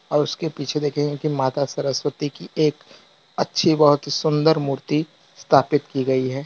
और उसके पीछे देखेंगे की माता सरस्वती की एक अच्छी बहोत सुंदर मूर्ति स्थापित की गई है।